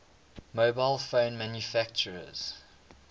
mobile phone manufacturers